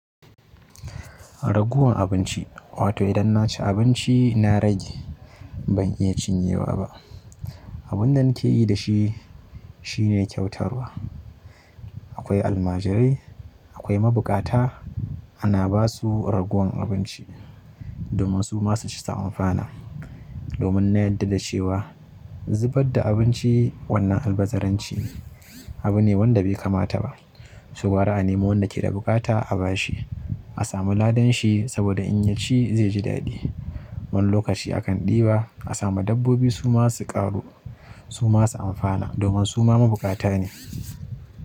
Ragowan abinci, wato idan na ci abinci na rage ban iya cinyewa ba. Abun da nake yi da shi shine kyautarwa. Akwai almajirai, akwai mabuƙata ana ba su ragowan abinci domin su ma su ci su amfana. Domin na yanda da cewa zubar da abinci wannan albazaranci ne abu ne wanda be kamata ba. To gwara a nemo wanda ke da buƙata a ba shi. A samu ladan shi saboda in ya ci ze ji daɗi. Wani lokaci akan ɗiba a sama dabbobi su ma su ƙaru su ma su amfana domin su ma mabukata ne.